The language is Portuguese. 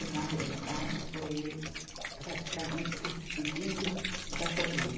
E, na realidade, foi ele praticamente se despedindo da família.